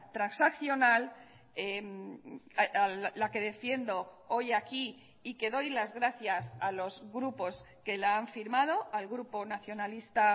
transaccional la que defiendo hoy aquí y que doy las gracias a los grupos que la han firmado al grupo nacionalista